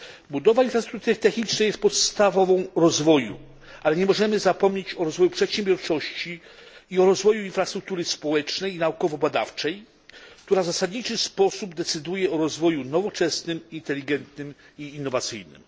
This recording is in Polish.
Budowa infrastruktury technicznej jest podstawą rozwoju, ale nie możemy zapomnieć o rozwoju przedsiębiorczości i o rozwoju infrastruktury społecznej i naukowo badawczej, które w zasadniczy sposób decydują o rozwoju nowoczesnym, inteligentnym i innowacyjnym.